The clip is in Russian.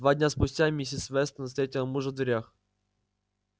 два дня спустя миссис вестон встретила мужа в дверях